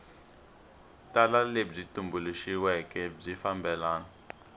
tala lebyi tumbuluxiweke byi fambelana